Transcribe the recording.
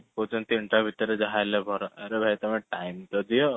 କହୁଛନ୍ତି ତଆମେ ତିନଟା ଭିତରେ ଯାହା ହେଲେବି କର ଅରେ ଭାଇ ତମେ time ତ ଦିଅ